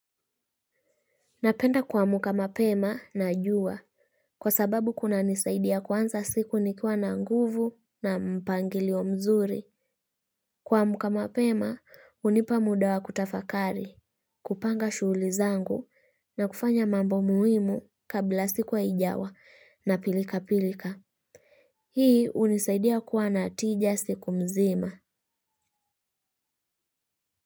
Napenda kuamuka mapema na juwa, kwa sababu kunanisaidia kuanza siku nikiwa na nguvu na mpangilio mzuri. Kuamuka mapema, hunipa muda wa kutafakari, kupanga shughuli zangu na kufanya mambo muhimu kabla siku haijawa na pilikapilika. Hii unisaidia kuwa na tija siku mzima.